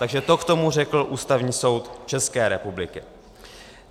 Takže to k tomu řekl Ústavní soud České republiky.